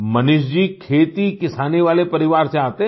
मनीष जी खेतीकिसानी वाले परिवार से आते हैं